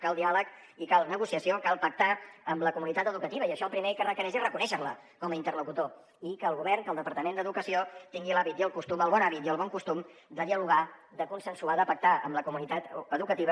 cal diàleg i cal negociació cal pactar amb la comunitat educativa i això el primer que requereix és reconèixer la com a interlocutor i que el govern que el departament d’educació tingui l’hàbit i el costum el bon hàbit i el bon costum de dialogar de consensuar de pactar amb la comunitat educativa